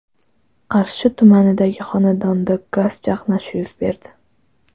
Qarshi tumanidagi xonadonda gaz chaqnashi yuz berdi.